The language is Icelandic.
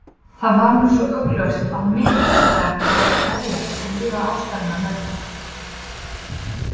Það var nú svo augljóst að mitt hlutverk var að gleðjast og líða ástarinnar vegna.